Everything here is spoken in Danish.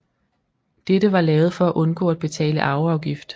Dette var lavet for at undgå at betale arveafgift